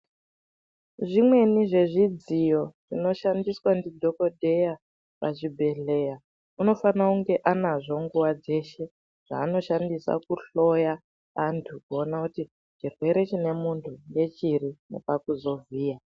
Zvimweni zvezvidziyo zvinoshandiswa ndidhokodheya pachibhedhleya unofanire kunge anazvo nguwa dzeshe, zvaanoshandisa kuhloya antu kuona kuti chirwere chine munthu ngechiri nepakuzovhiya.